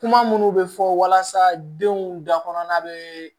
Kuma minnu bɛ fɔ walasa denw da kɔnɔna bɛ